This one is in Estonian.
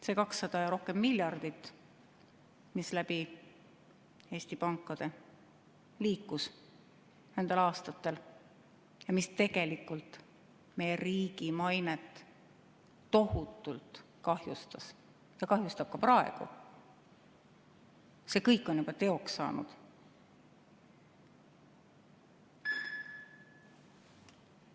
See üle 200 miljardi euro, mis nendel aastatel läbi Eesti pankade liikus ja mis tegelikult meie riigi mainet tohutult kahjustas, kahjustab ka praegu, see kõik on juba teoks saanud.